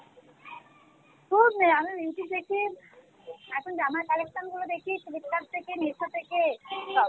খুব নেয় আমি YouTube দেখি এখন জামার collection গুলো দেখি Flipkart থেকে Meesho থেকে